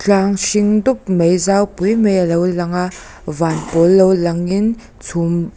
tlang hring dup mai zau pui mai alo lang a van pawl lo lang in chhum--